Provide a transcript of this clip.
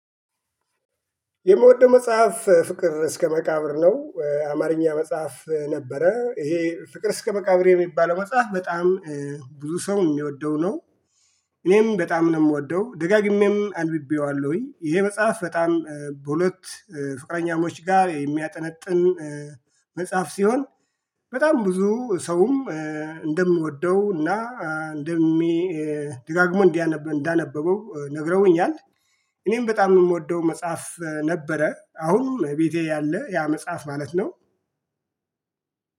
የምወደው መጽሐፍ ፍቅር እስከ መቃብር ነው አማርኛ መጽሐፍ ነበረ ይሄ ፍቅር እስከ መቃብር የሚባለው መጽሐፍ በጣም ብዙ ሰው የሚወደው ነው። እኔም በጣም ነው የምወደው ደጋግሜም አንብቤዋለሁኝ ይሄ መጽሐፍ በጣም በሁለት ፍቅረኛሞች ጋር የሚያጠነጥን። መጽሐፍ ሲሆን በጣም ብዙ ሰውም እንደምወደው እና እንደሚ ደጋግሞ እንዳነበበው ነግረውኛል። እኔም በጣም የምወደው መጽሐፍ ነበረ አሁን ቤቴ ያለ ያ መጽሐፍ ማለት ነው።